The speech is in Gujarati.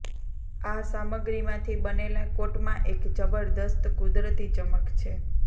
આ સામગ્રીમાંથી બનેલા કોટમાં એક જબરદસ્ત કુદરતી ચમક છે